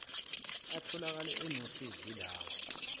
atholakale enosizo yilawa